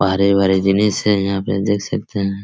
बाहरे बाहरे जने से यहाँ पे देख सकते हैं ।